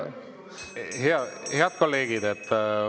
Head kolleegid!